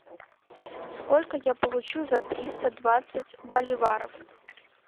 сколько я получу за триста двадцать боливаров